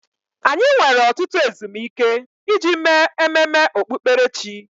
Anyị nwere ọtụtụ ezumike iji mee ememe okpukperechi.